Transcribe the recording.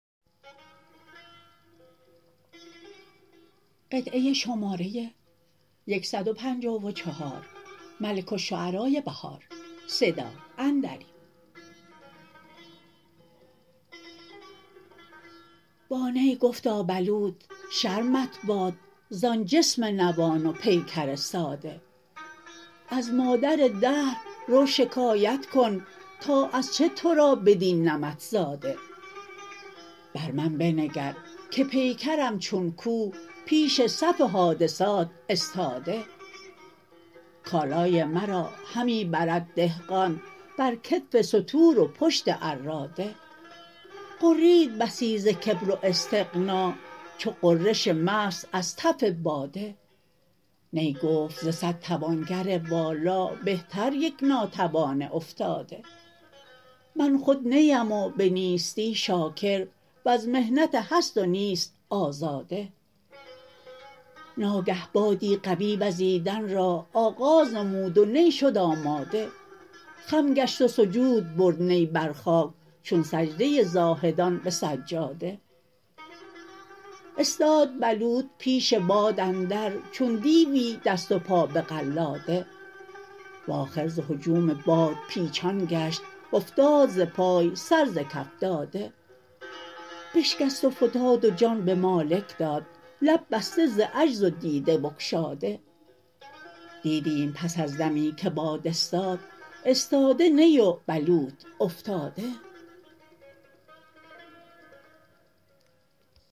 با نی گفتا بلوط شرمت باد زان جسم نوان و پیکر ساده از مادر دهر رو شکایت کن تا از چه تو را بدین نمط زاده بر من بنگرکه پیکرم چون کوه پیش صف حادثات استاده کالای مرا همی برد دهقان برکتف ستور و پشت عراده غرید بسی زکبر و استغنا چو غرش مست ازتف باده نی گفت ز صد توانگر والا بهتر یک ناتوان افتاده من خود نی ام و به نیستی شاکر وز محنت هست و نیست آزاده ناگه بادی قوی وزیدن را آغاز نمود و نی شد آماده خم گشت و سجود برد نی برخاک چون سجده زاهدان به سجاده استاد بلوط پیش باد اندر چون دیوی دست و پا به قلاده و آخر ز هجوم باد پیچان گشت و افتاد ز پای سر ز کف داده بشکست وفتادو جان به مالک داد لب بسته ز عجز و دیده بگشاده دیدیم پس از دمی که باد استاد استاده نی و بلوط افتاده